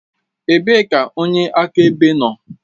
Ebee ka onye akaebe nọ?